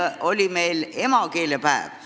Eile oli meil emakeelepäev.